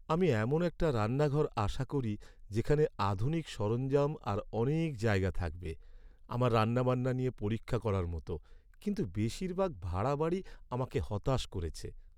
আমি এমন একটা রান্নাঘর আশা করি যেখানে আধুনিক সরঞ্জাম আর অনেক জায়গা থাকবে আমার রান্নাবান্না নিয়ে পরীক্ষা করার মতো, কিন্তু বেশিরভাগ ভাড়া বাড়ি আমাকে হতাশ করেছে।